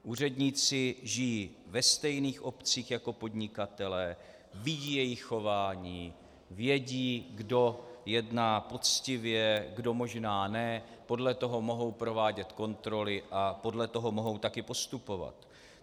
Úředníci žijí ve stejných obcích jako podnikatelé, vědí jejich chování, vědí, kdo jedná poctivě, kdo možná ne, podle toho mohou provádět kontroly a podle toho mohou taky postupovat.